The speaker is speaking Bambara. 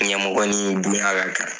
Ɲɛmɔgɔ ni bonya ka kan